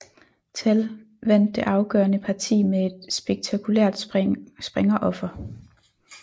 Tal vandt det afgørende parti med et spektakulært springeroffer